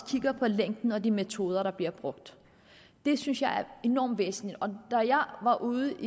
kigger på længden og de metoder der bliver brugt det synes jeg er enormt væsentligt da jeg var ude